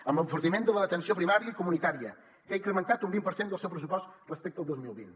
amb l’enfortiment de l’atenció primària i comunitària que ha incrementat un vint per cent del seu pressupost respecte al dos mil vint